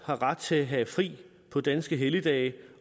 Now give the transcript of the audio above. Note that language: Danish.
har ret til at have fri på danske helligdage